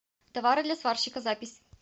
товары для сварщика запись